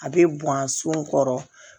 A bɛ bɔn a sun kɔrɔ